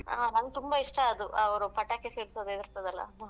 ಹಾ ನಂಗ್ ತುಂಬಾ ಇಷ್ಟ ಅದು ಅವ್ರು ಪಟಾಕಿ ಸಿಡ್ಸೋದ್ ಇರ್ತದಲ್ಲ.